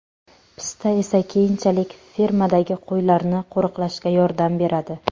Pista esa keyinchalik fermadagi qo‘ylarni qo‘riqlashga yordam beradi.